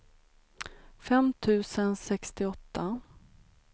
fem tusen sextioåtta